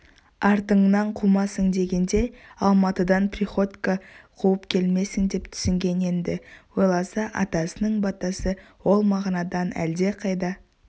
артыңнан қумасын дегенде алматыдан приходько қуып келмесін деп түсінген енді ойласа атасының батасы ол мағынадан әлдеқайда